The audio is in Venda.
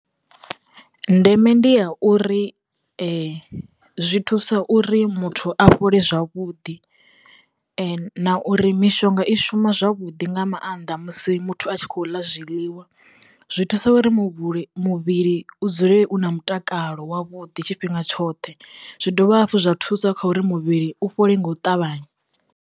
Ndeme ndi ya uri zwi thusa uri muthu a fhole zwavhuḓi na uri mishonga i shuma zwavhuḓi nga maanḓa musi muthu a tshi khou ḽa zwiḽiwa zwi thusa uri muvhuli muvhili u dzulele u na mutakalo wavhuḓi tshifhinga tshoṱhe zwi dovha hafhu zwa thusa kha uri muvhili u fhole nga u ṱavhanya.